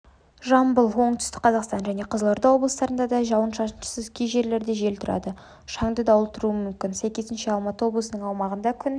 жамбыл оңтүстік қазақстан және қызылорда облыстарында да жауын-шашынсыз кей жерлерде жел тұрады шаңды дауыл тұруы мүмкін сәйкесінше алматы облысының аумағында күн